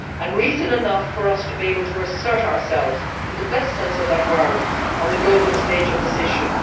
This is reason enough for us to be able to assert ourselves, in the best sense of that word, on the global stage on this issue.